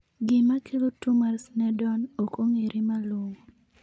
Gima kelo tuwo mar Sneddon ok ong'ere malong'o.